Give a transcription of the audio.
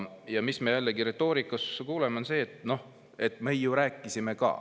Ja mis me jällegi retoorikas kuuleme, on see, et me ju rääkisime ka.